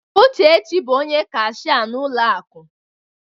Uchechi bụ onye kashia n'ụlọ akụ.